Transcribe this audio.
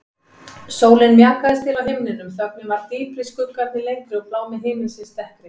Sólin mjakaðist til á himninum, þögnin varð dýpri, skuggarnir lengri og blámi himinsins dekkri.